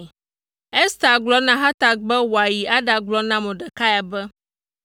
Ester gblɔ na Hatak be wòayi aɖagblɔ na Mordekai be,